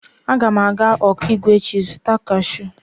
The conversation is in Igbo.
Aga m aga Okigwe echi izuta kashụụ.